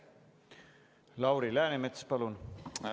Lauri Läänemets, palun!